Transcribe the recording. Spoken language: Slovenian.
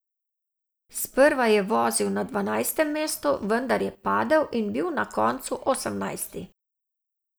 Sprva je vozil na dvanajstem mestu, vendar je padel in bil na koncu osemnajsti.